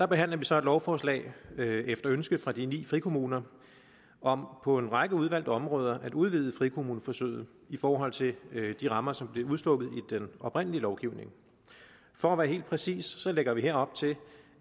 behandler vi så et lovforslag efter ønske fra de ni frikommuner om på en række udvalgte områder at udvide frikommuneforsøget i forhold til de rammer som blev udstukket i den oprindelige lovgivning for at være helt præcis lægger vi her op til